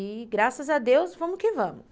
E graças a Deus, vamos que vamos.